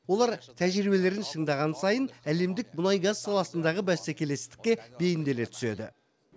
олар тәжірибелерін шыңдаған сайын әлемдік мұнай газ саласындағы бәсекелестікке бейімделе түседі